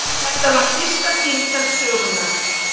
Þetta var fyrsta símtal sögunnar.